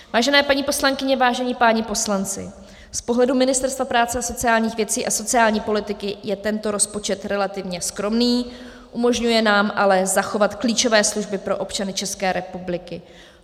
Vážené paní poslankyně, vážení páni poslanci, z pohledu Ministerstva práce a sociálních věcí a sociální politiky je tento rozpočet relativně skromný, umožňuje nám ale zachovat klíčové služby pro občany České republiky.